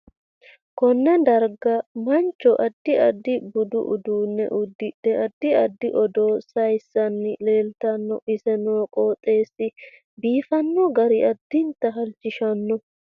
Konne dargga mancho addi adfi budu uduune uddudhe addi addi odoo sayiosanni leeltanno ise noo qooxeesi biifanno gari addinta halchishanno